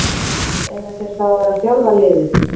Eiga þeir þá að vera að þjálfa liðið?